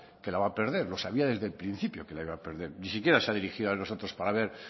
que la va a perder lo sabía desde el principio que la iba a perder ni siquiera se ha dirigido a nosotros para ver